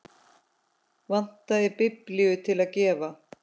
Vantaði biblíu til að gefa.